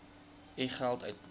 u geld uitbetaal